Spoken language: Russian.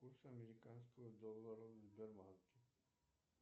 курс американского доллара в сбербанке